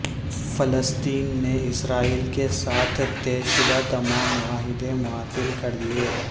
فلسطین نے اسرائیل کے ساتھ طے شدہ تمام معاہدے معطل کر دیئے